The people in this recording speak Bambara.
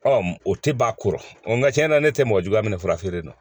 o tɛ ban a kɔrɔ nka tiɲɛna ne tɛ mɔgɔ juguya minɛ fura feere la